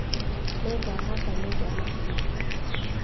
Nĩngahatata nyũmba rũciũ